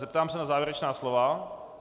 Zeptám se na závěrečná slova.